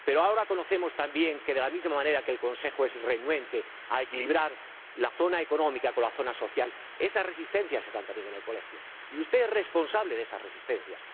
Pero ahora sabemos también que, de la misma manera que el Consejo es renuente a equilibrar la zona económica con la zona social, esas resistencias están también en el Colegio, y usted es responsable de esas resistencias.